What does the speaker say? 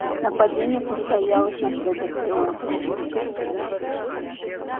нападение состоялось на следующее утро